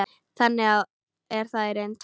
Þannig er það í reynd.